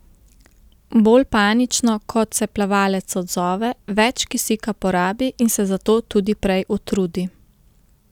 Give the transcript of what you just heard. Bolj panično kot se plavalec odzove, več kisika porabi in se zato tudi prej utrudi.